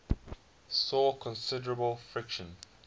saw considerable friction